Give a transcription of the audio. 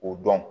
O dɔn